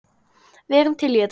Við erum til í þetta.